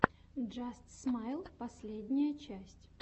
джаст смайл последняя часть